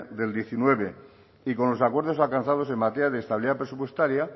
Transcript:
del diecinueve y con los acuerdos alcanzados en materia de estabilidad presupuestaria